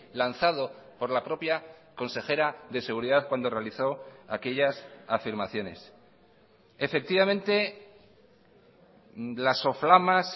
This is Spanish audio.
lanzado por la propia consejera de seguridad cuando realizó aquellas afirmaciones efectivamente las soflamas